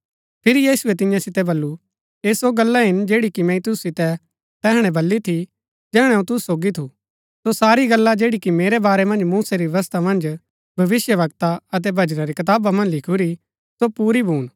फिरी यीशुऐ तियां सितै बल्लू ऐह सो गल्ला हिन जैड़ी कि मैंई तुसु सितै तैहणै बल्ली थी जैहणै अऊँ तुसु सोगी थू सो सारी गल्ला जैड़ी कि मेरै बारै मन्ज मूसै री व्यवस्था मन्ज भविष्‍यवक्ता अतै भजनां री कताबा मन्ज लिखुरी सो पूरी भून